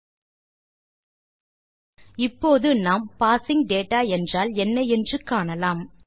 000176 000114 இப்போது நாம் parsing data என்றால் என்ன என்று காணலாம்